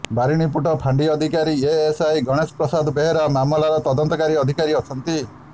ବାରିଣୀପୁଟ ଫାଣ୍ଡି ଅଧିକାରୀ ଏଏସ୍ଆଇ ଗଣେଣ ପ୍ରସାଦ ବେହେରା ମାମଲାର ତଦନ୍ତକାରୀ ଅଧକାରୀ ଅଛନ୍ତି